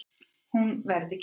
Hún verði kærð.